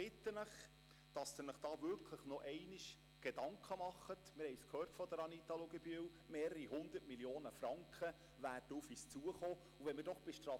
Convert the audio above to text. Ich bitte Sie, sich nochmals Gedanken darüber zu machen – mehrere 100 Mio. Franken werden auf uns zukommen, wie sie von Anita Luginbühl gehört haben.